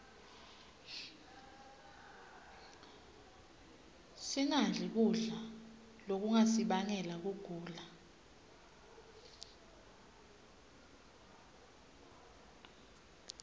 singadli kudla lokungasibangela kugula